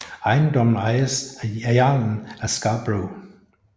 Ejendommens ejes af jarlen af Scarbrough